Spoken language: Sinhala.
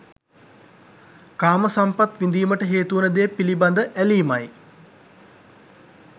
කාම සම්පත් විඳීමට හේතුවන දේ පිළිබඳ ඇලීමයි